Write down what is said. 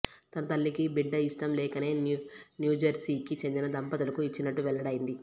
తన తల్లికి బిడ్డ ఇష్టం లేకనే న్యూజెర్సీకి చెందిన దంపతులకు ఇచ్చినట్టు వెల్లడైంది